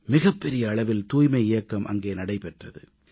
மிகப்பெரிய அளவில் தூய்மை இயக்கம் அங்கே நடைபெற்றது